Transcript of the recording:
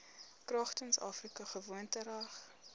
kragtens afrika gewoontereg